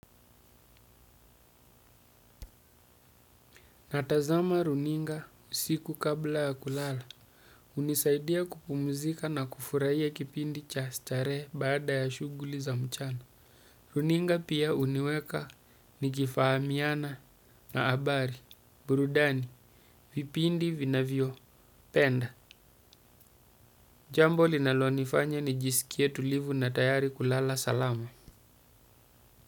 Natazama runinga usiku kabla ya kulala. Hunisaidia kupumzika na kufurahia kipindi cha starehe baada ya shughuli za mchana. Runinga pia huniweka nikifahamiana na habari, burudani, vipindi, vinavyo, penda. Jambo linalonifanya nijisikie tulivu na tayari kulala salama.